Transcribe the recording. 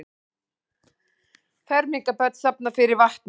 Fermingarbörn safna fyrir vatni